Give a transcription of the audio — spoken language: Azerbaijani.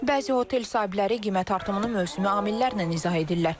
Bəzi otel sahibləri qiymət artımını mövsümi amillərlə izah edirlər.